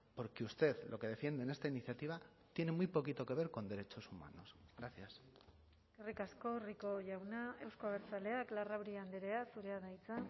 porque usted lo que defiende en esta iniciativa tiene muy poquito que ver con derechos humanos gracias eskerrik asko rico jauna euzko abertzaleak larrauri andrea zurea da hitza